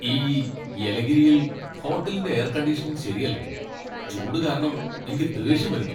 ഈ യെലഗിരിയിൽ ഹോട്ടലിന്റെ എയർ കണ്ടീഷനിംഗ് ശരിയല്ലാ. ചൂട് കാരണം എനിക്ക് ദേഷ്യം വരുന്നു.